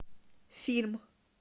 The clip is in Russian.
фильм